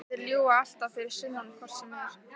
Og þeir ljúga alltaf fyrir sunnan hvort sem er.